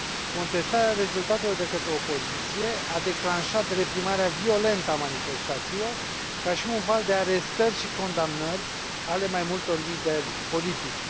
Contestarea rezultatelor de către opoziție a declanșat reprimarea violentă a manifestațiilor, ca și un val de arestări și condamnări ale mai multor lideri politici.